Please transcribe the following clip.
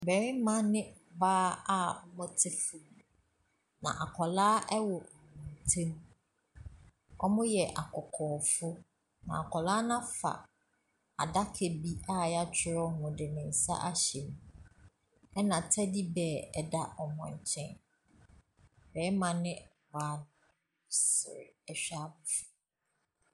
Barima ne ɔbaa a wɔte fam. Na akwaraa wɔ wɔn ntam. Wɔyɛ akɔkɔɔfo. Na akwaraa no afa adaka bi a yɛatwerɛ ho na ɔde ne nsa ahyem. Na tɛdi bird da wɔn nkyɛn. Barima ne ɔbaa no wɔresre hyɛ abofra no.